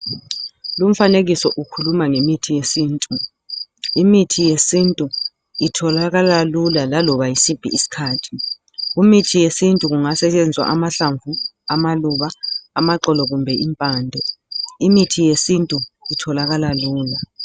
Lumfanekiso ukhuluma ngemithi yesintu, imithi yesintu itholakala lula laloba yisiphi iskhathi imithi yesintu kungasetshenziswa amahlamvu amaluba amaxolo kumbe impande, imithi yesintu itholakala lula.